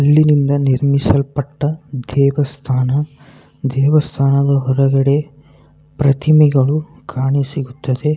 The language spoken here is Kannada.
ಇಲ್ಲಿ ನಿಮ್ನಿ ನಿರ್ಮಿಸಲ್ ಪಟ್ಟ ದೇವಸ್ಥಾನ ದೇವಸ್ಥಾನದ ಹೊರಗಡೆ ಪ್ರತಿಮೆಗಳು ಕಾಣಿಸುತ್ತದೆ